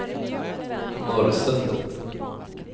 Norrsundet